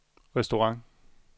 restaurant